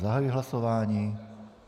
Zahajuji hlasování.